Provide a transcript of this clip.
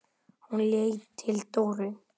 Hún leit til Dóru.